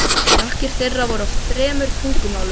Þakkir þeirra voru á þremur tungumálum.